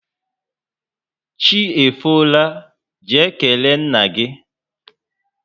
Chi efola, jee kelee nna gị!